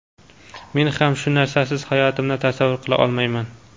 men ham shu narsasiz hayotimni tasavvur qila olmayman.